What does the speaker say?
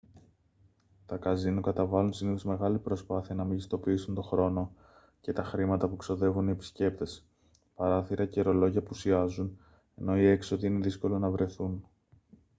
τα καζίνο καταβάλλουν συνήθως μεγάλη προσπάθεια να μεγιστοποιήσουν τον χρόνο και τα χρήματα που ξοδεύουν οι επισκέπτες παράθυρα και ρολόγια απουσιάζουν ενώ οι έξοδοι είναι δύσκολο να βρεθούν